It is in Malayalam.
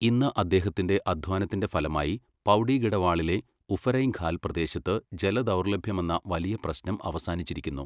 ഇന്ന് അദ്ദേഹത്തിന്റെ അദ്ധ്വാനത്തിന്റെ ഫലമായി പൗഡിഗഡവാളിലെ ഉഫരൈംഖാൽ പ്രദേശത്ത് ജലദൗർലഭ്യമെന്ന വലിയ പ്രശ്നം അവസാനിച്ചിരിക്കുന്നു.